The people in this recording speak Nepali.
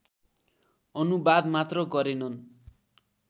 अनुवाद मात्र गरेनन्